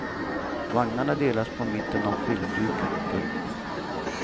Vagnarna delas på mitten av filmduken. punkt